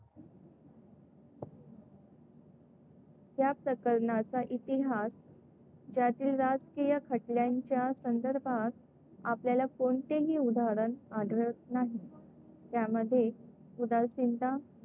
या प्रकरणाचा इतिहास, ज्यातील राजकीय खटल्यांच्या संदर्भात आपल्याला कोणतेही उदाहरण आढळत नाही. त्यामध्ये उदासीनता,